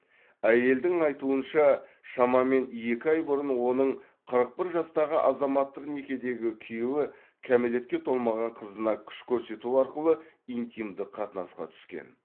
әйелдің айтуынша шамамен екі ай бұрын оның қырық бір жастағы азаматтық некедегі күйеуі кәмелетке толмаған қызына күш көрсету арқылы интимдік қатынасқа түскен